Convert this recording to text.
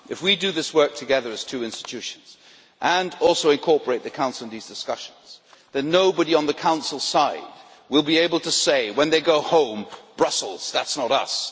If we do this work together as two institutions and also incorporate the Council in these discussions, then nobody on the Council side will be able to say, when they go home, That's Brussels that is not us'.